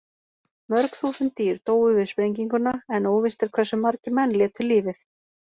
Mörg þúsund dýr dóu við sprenginguna en óvíst er hversu margir menn létu lífið.